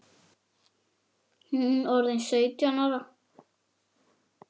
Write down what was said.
Hún orðin sautján ára.